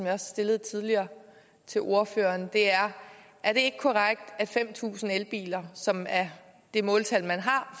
har stillet tidligere til ordføreren er er det ikke korrekt at fem tusind elbiler som er det måltal man har